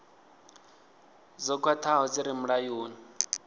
dzo khwathaho dzi re mulayoni